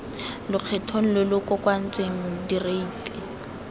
lokgethong lo lo kokoantsweng direiti